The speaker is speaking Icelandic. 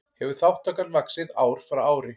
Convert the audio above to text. Hefur þátttakan vaxið ár frá ári